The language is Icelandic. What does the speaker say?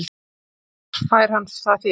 Hvar fær hann það fé?